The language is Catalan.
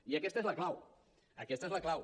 i aquesta és la clau aquesta és la clau